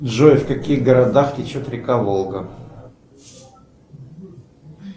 джой в каких городах течет река волга